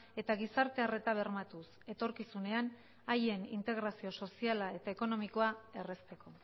eta gizarte arreta bermatuz etorkizunean haien integrazio soziala eta ekonomikoa errazteko